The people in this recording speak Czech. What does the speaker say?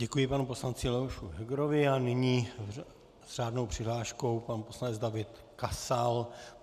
Děkuji panu poslanci Leoši Hegerovi a nyní s řádnou přihláškou pan poslanec David Kasal.